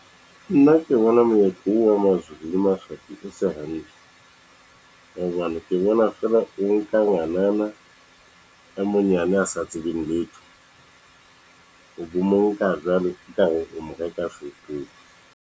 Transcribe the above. Nna ke bona moetlo oo wa Mazulu le Maswati o se hantle, hobane ke bona feela o nka ngwanana, a monyane a sa tsebeng letho o bo mo nka jwalo .